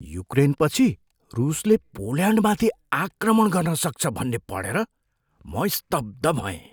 युक्रेनपछि रुसले पोल्यान्डमाथि आक्रमण गर्न सक्छ भन्ने पढेर म स्तब्ध भएँ।